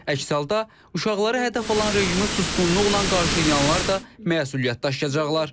Əks halda uşaqları hədəf alan rejimi susqunluqla qarşılayanlar da məsuliyyət daşıyacaqlar.